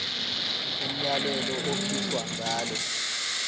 umyalelo okhishwa ngalo